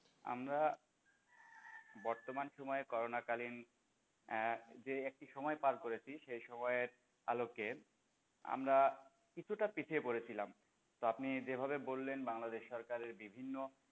আমরা বর্তমান সময়ে করোনাকালীন আহ যে একটু সময় পার করেছি দিয়েছি ওই সময়ের আলোকে আমরা কিছুটা পিছিয়ে পড়েছিলাম তো আপনি যেভাবে বললেন বাংলাদেশ সরকারের বিভিন্ন,